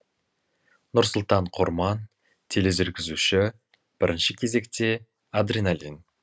нұрсұлтан құрман телезүргізуші бірінші кезекте адреналин